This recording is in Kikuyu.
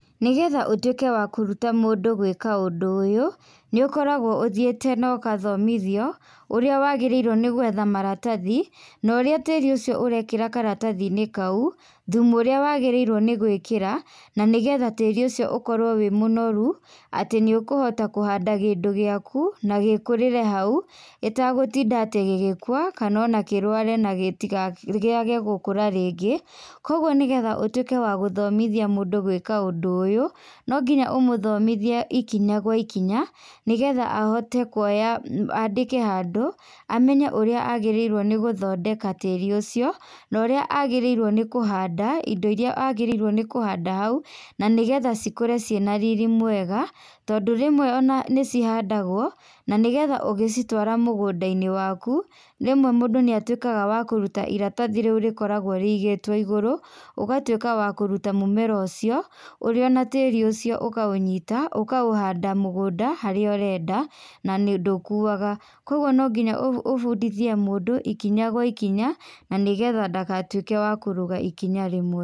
Nĩgetha ũtuĩke wa kũruta mũndũ gwĩka ũndũ ũyũ, nĩ ũkoragwo ũthiĩte ũgathomithio ũrĩa wagĩrrĩirwo nĩgwetha maratathi, na ũrĩa tĩri ũcio ũrekĩra karatathi-inĩ kau, thumu ũrĩa wagĩrĩirwo nĩ gwĩkĩra na nĩgetha tĩri ũcio ũkorwo wĩ mũnoru, atĩ nĩ ũkũhota kũhanda kĩndũ gĩaku na gĩkũrĩre hau ĩtagũtinda atĩ gĩgĩkua kana o na kana atĩ kĩrware kĩagegũkũra rĩngĩ. Kogwo nĩgetha ũtũĩke wagũthomithia mũndũ gwĩka ũndũ ũyũ, no nginya ũmũthomithie ikinya gwa ikinya, nĩgetha ahote kuoya andĩke handũ amenye ũrĩa agĩrĩirwo nĩgũthondeka tĩri ũcio na ũrĩa agĩrĩirwo nĩ kũhanda indo irĩa agĩrĩgwo nĩ kũhanda hau, na nĩgetha cikũre ciĩ na riri mwega tondũ rĩmwe o na nĩcihandagwo, na nĩgetha ũgĩcitwara mũgũnda-inĩ waku rĩmwe mũndũ nĩatuĩkaga wa kũruta iratathi riu rĩkoragwo rĩigĩtwo igũrũ, ũgatuĩka wa kũruta mũmera ũcio ũrĩo na tĩri ucio ũkaũnyita ũkaũhanda mũgũnda harĩa ũrenda, na ndũkuaga. Koguo no nginya ũbundithie mũndũ ikinya gwa ikinya na nĩgetha ndagatuĩke wa kũrũga ikinya rĩmwe.